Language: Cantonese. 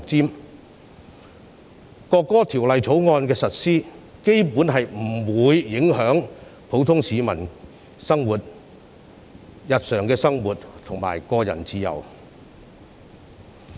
基本上，《條例草案》的實施不會影響普通市民的日常生活及個人自由。